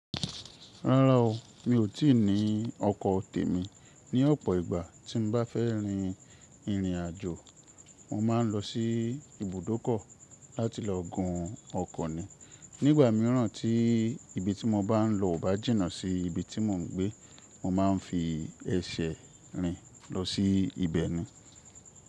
Rárá o, mi ò tí ì ní ọkọ̀ tèmi. Ni ọ̀pọ̀ ìgbà tí n bá fẹ́ rin ìrìnàjò, mo má ń lọ sí ibùdókọ̀ láti lọ gun ọkọ̀ ní. Nígbà míràn tí ibi tí mo bá n lọ ò bá jìnnà sí ibi tí mò ń gbé, mò ma n fi ẹsẹ̀ rìn lọ sí ibẹ̀ ni.